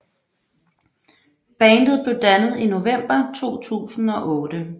Bandet blev dannet i november 2008